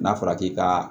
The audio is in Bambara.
N'a fɔra k'i ka